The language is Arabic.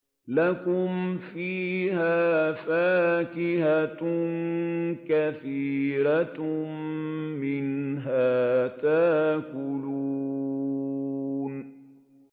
لَكُمْ فِيهَا فَاكِهَةٌ كَثِيرَةٌ مِّنْهَا تَأْكُلُونَ